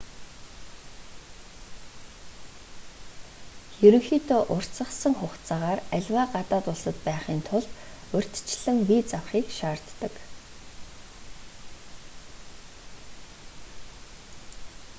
ерөнхийдөө уртасгасан хугацаагаар аливаа гадаад улсад байхын тулд урьдчилан виз авахыг шаарддаг